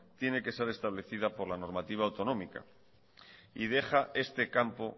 tiene que ser establecida por la normativa autonómica y deja este campo